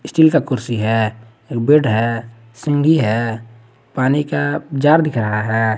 Steel का कुर्सी है एक बेड है सीगी है पानी का जार दिख रहा है।